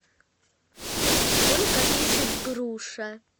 сколько весит груша